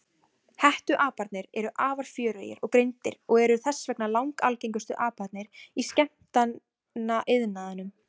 Hettuaparnir eru afar fjörugir og greindir og eru þess vegna langalgengustu aparnir í skemmtanaiðnaðinum.